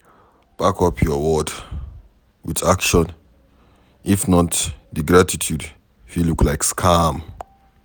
Back up your words with action if not di gratitude fit look like scam